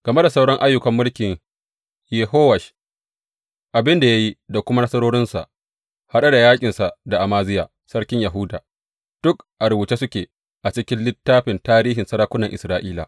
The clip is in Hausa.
Game da sauran ayyukan mulkin Yehowash, abin da ya yi da kuma nasarorinsa, haɗe da yaƙinsa da Amaziya sarkin Yahuda, duk a rubuce suke a cikin littafin tarihin sarakunan Isra’ila.